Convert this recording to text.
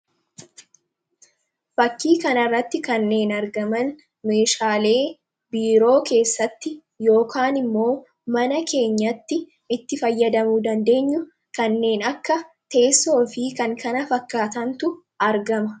Fakkii kanarratti kanneen argaman meeshaalee biiroo keessatti yookaan immoo mana keenyatti itti fayyadamuu dandeenyu kanneen akka teessoo fi kan kana fakkaatantu argama.